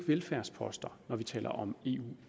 velfærdsposter når vi taler om eu